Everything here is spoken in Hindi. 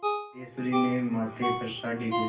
सिद्धेश्वरी ने माथे पर साड़ी को